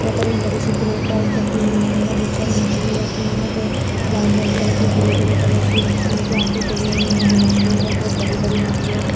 यहाँ पे बड़ी सी क्रैट टाइप रखी हुई है उसके अंदर बहोत सारी मछली रखी हुई है वाइट वाइट कलर की ग्रे ग्रे कलर की मछलियों की आँखे खुली हुई हैं जो ये जो मछली है बहोत बड़ी बड़ी मछली हैं।